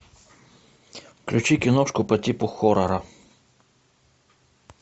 включи киношку по типу хоррора